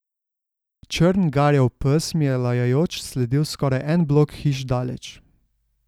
Črn, garjav pes mi je lajajoč sledil skoraj en blok hiš daleč.